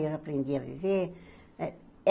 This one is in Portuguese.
Eu aprendi a viver.